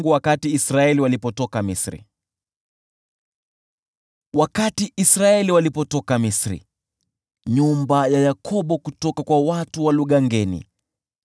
Wakati Israeli walipotoka Misri, nyumba ya Yakobo kutoka kwa watu wa lugha ngeni,